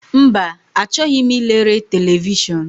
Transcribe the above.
Mba, achọghị m ilere televishọn.